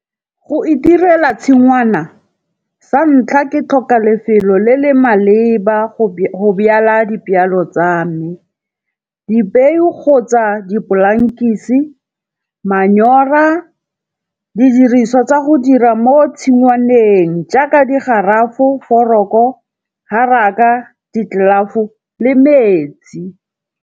Go itirela tshingwana sa ntlha ke tlhoka lefelo le le maleba go byala dibyalo tsa me. Dipeo kgotsa diblankisi, manyora, didiriswa tsa go dira mo tshingwaneng jaaka digarafo, foroko, haraka, di-glove-o o le metsi.